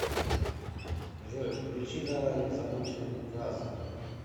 джой включи давай замутим раза